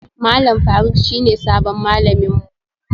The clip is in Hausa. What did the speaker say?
Malam Faruk shine sabon malamin mu